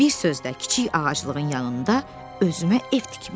Bir sözlə, kiçik ağaclığın yanında özümə ev tikmişəm.